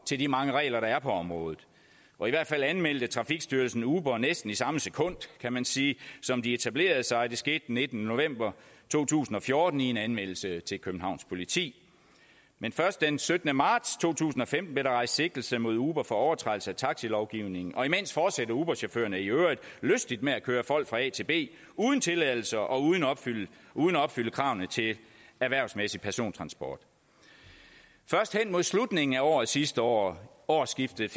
til de mange regler der er på området og i hvert fald anmeldte trafikstyrelsen uber næsten i samme sekund kan man sige som de etablerede sig og det skete den nittende november to tusind og fjorten i en anmeldelse til københavns politi men først den syttende marts to tusind og femten blev der rejst sigtelse mod uber for overtrædelse af taxilovgivningen og imens fortsatte uberchaufførerne i øvrigt lystigt med at køre folk fra a til b uden tilladelse og uden at opfylde kravene til erhvervsmæssig persontransport først hen mod slutningen af året sidste år årsskiftet